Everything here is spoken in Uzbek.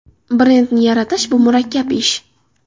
Brendni yaratish bu murakkab ish.